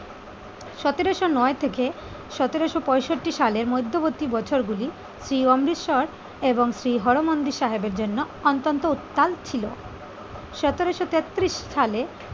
সতেরোশো নয় থেকে সতেরোশো পঁয়ষট্টি সালের মধ্যবর্তী বছরগুলি শ্রী অমৃতসর এবং শ্রী হরি মন্দির সাহেবের জন্য অত্যন্ত উত্তাল ছিল। সতেরোশো তেত্তিরিশ সালে